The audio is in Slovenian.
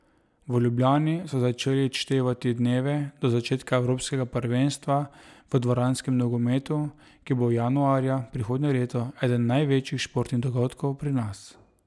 V Ljubljani so začeli odštevati dneve do začetka evropskega prvenstva v dvoranskem nogometu, ki bo januarja prihodnje leto eden največjih športnih dogodkov pri nas.